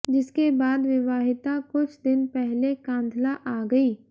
जिसके बाद विवाहिता कुछ दिन पहले कांधला आ गई